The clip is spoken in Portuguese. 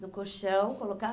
do colchão,